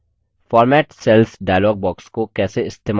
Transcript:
format cells dialog box को कैसे इस्तेमाल करें